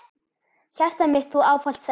Hjartað mitt Þú ávallt sagðir.